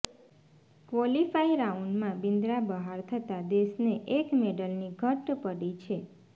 qualify રાઉન્ડમાં બિન્દ્રા બહાર થતા દેશને એક મેડલની ઘટ પડી છે